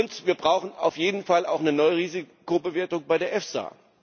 Und wir brauchen auf jeden Fall auch eine neue Risikobewertung bei der EFSA.